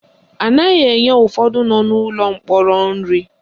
Anaghị enye ụfọdụ nọ n'ụlọ mkpọrọ nri